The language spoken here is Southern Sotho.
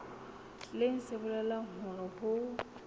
leng se bolelang hore ho